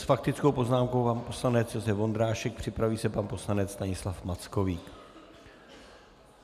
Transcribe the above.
S faktickou poznámkou pan poslanec Josef Vondrášek, připraví se pan poslanec Stanislav Mackovík.